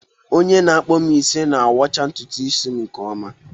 Onye na-akpụ m isi na-awọcha ntutu isi nke ọma.